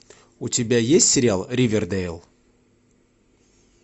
у тебя есть сериал ривердэйл